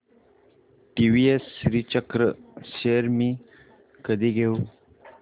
TVS Srichakra shares मी कधी घेऊ